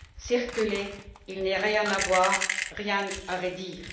Circulez, il n'y a rien à voir, rien à redire.